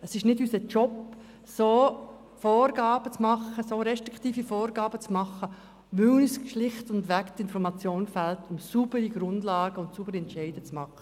Es ist nicht unsere Aufgabe, solche restriktiven Vorgaben zu machen, weil uns die Informationen fehlen, die nötig sind, um auf einer sauberen Grundlage gute Entscheide zu fällen.